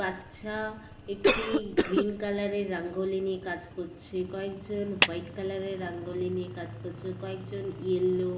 বাচ্চা একটি green colour -এর রাঙ্গলি নিয়ে কাজ করছে কয়েকজন হোয়াইট কালার -এর রাঙ্গলি নিয়ে কাজ করছে কয়েকজন ইয়েলো --